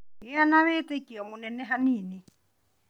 Gĩa na wĩtĩkio mũnene hanini